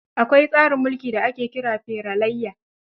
Akwai tsarin mulki da ake kira feralaiya.